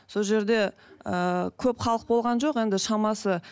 сол жерде ы көп халық болған жоқ енді шамасы